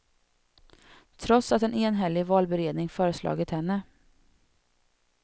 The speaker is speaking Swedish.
Trots att en enhällig valberedning föreslagit henne.